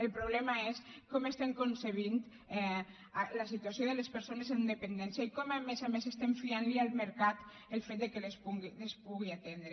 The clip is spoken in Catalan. el problema és com concebem la situació de les persones amb dependència i com a més a més fiem al mercat el fet que les pugui atendre